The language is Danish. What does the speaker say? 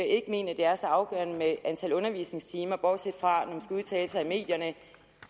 ikke mener det er så afgørende med antal undervisningstimer bortset fra når man udtale sig i medierne